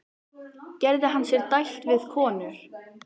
Gerði hann sér dælt við konur?